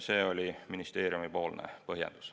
See oli ministeeriumi põhjendus.